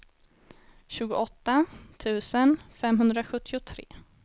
tjugoåtta tusen femhundrasjuttiotre